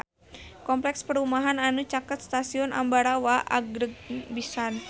Kompleks perumahan anu caket Stasiun Ambarawa agreng pisan